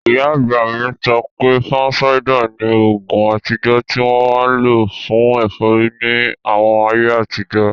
Ìyá àgbà mi sọ pé, fansáídà ni oògùn àtijọ́ tí wọ́n máa n lò fún ẹ̀fọ́rí ní àwọn ayé àtijọ́